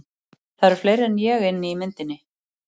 Það eru fleiri en ég inni í myndinni.